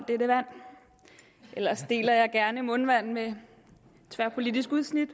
ellers deler jeg gerne mundvand med et tværpolitisk udsnit